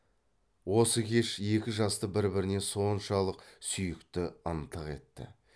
осы кеш екі жасты бір біріне соншалық сүйікті ынтық етті